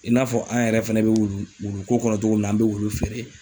I n'a fɔ an yɛrɛ fɛnɛ bɛ wulu wulu ko kɔnɔ cogo min na, an bɛ wulu feere.